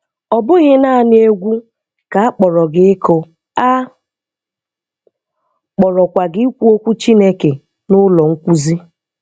Ọ bụghị nanị egwú ka akpọrọ gị ịkụ, a kpọrọkwa gị ikwu okwu Chineke n’ụ́lọ̀ nkwúzi.